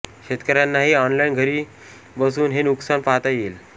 शेतकऱ्यांनाही ऑनलाईन घरी बसून हे नुकसान पाहता येईल